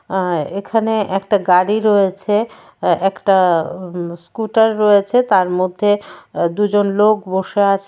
আর এখানে একটা গাড়ি রয়েছে এ একটা উম স্কুটার রয়েছে তার মধ্যে দুজন লোক বসে আছে।